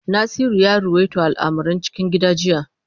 Nasiru ya ruwaito al’amuran cikin gida jiya.